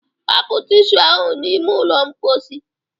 Hapụ tishu ahụ n'ime ụlọ mkposi.